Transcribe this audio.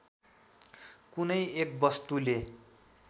कुनै एक वस्तुले